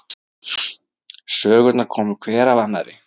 Sögurnar komu hver af annarri.